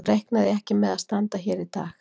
Þá reiknaði ég ekki með að standa hér í dag.